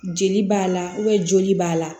Jeli b'a la joli b'a la